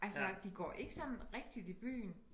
Altså de går ikke sådan rigtigt i byen